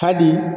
Hali